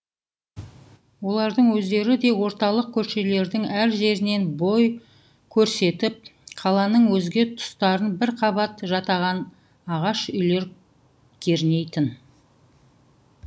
олардың өздері де орталық көшелердің әр жерінен бір бой көрсетіп қаланың өзге тұстарын бір қабат жатаған ағаш үйлер кернейтін